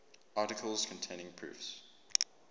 articles containing proofs